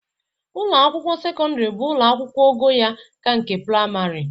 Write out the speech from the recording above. Ụlọ akwụkwọ sekọndịrị bụ ụlọ akwụkwụ ogo ya ka nke prịmarị